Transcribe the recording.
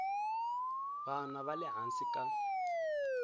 vana va le hansi ka